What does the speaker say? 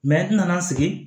n nana n sigi